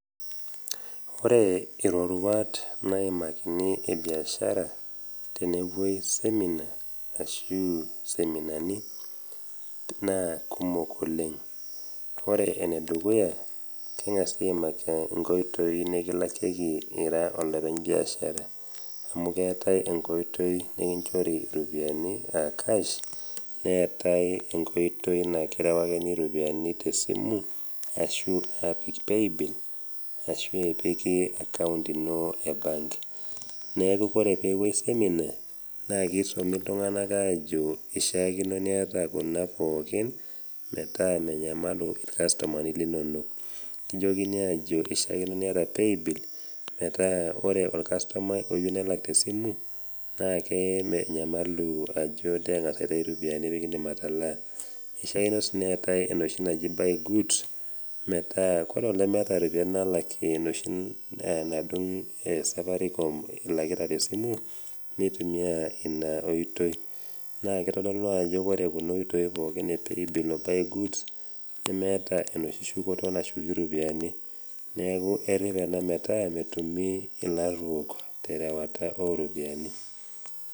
Ore iroruat naimakini e biashara tenepuoi seminar ashu iseminani naa kumok oleng ore enedukuya keng'asi aimaki inkoitoi nikilakieki ira olopeny biashara amu keetae enkoitoi nikinchori iropiyiani aa cash neetae enkoitoi naikirewakini iropiani tesimu ashu epik payabill ashu epiki account ino e bank neeku kore peepuoi seminar naa keisumi iltung'anak aajo ishiakino niata kuna pookin metaa menyamalu irkastomani linonok nijokini aajo ishiakino niata paybill metaa ore orkastomai oyieu nelak tesimu naake menyamalu ajo teng'as aitayu pikindim atalaa eishiakino sii neetae enoshi naji buy goods metaa kore olemeeta nalakie enoshi nadung safaricom ilakita tesimu nitumia eina oitoi naa kitodolu ajo kore kuna oitoi pookin e paybill o buy goods nemeeta enoshi shukoto nashuki iropiani neeku errep ena metaa metumi ilaat kumok terewata oropiani.